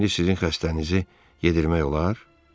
İndi sizin xəstənizi yedirmək olar?